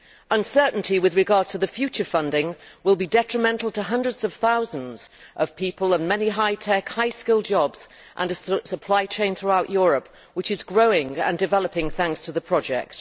Uncertainty with regard to future funding will be detrimental to hundreds of thousands of people, many high tech, high skilled jobs and a supply chain throughout Europe which is growing and developing thanks to the project.